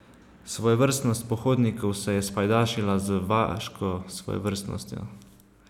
Svojevrstnost pohodnikov se je spajdašila z vaško svojevrstnostjo.